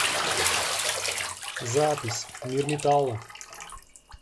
запись мир металла